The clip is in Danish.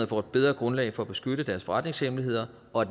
får et bedre grundlag for at beskytte deres forretningshemmeligheder og